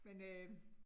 Men øh